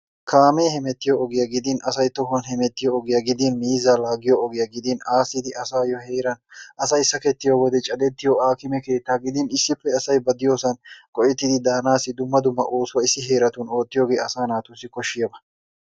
Kaamee hemettiyo ogiya gidin asay tohuwan hemettiyo ogiya gidin miizzaa laagiyoogiya gidin aasidi asayo heeraa asay sakketiyo wode cadettiyo aakkime keettaa gidin he asay ba diyossan ufayttidi daanaassi dumma dumma oosuwa oottiyogee asaasi koshshiyaba.